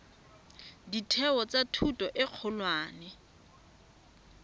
ditheo tsa thuto e kgolwane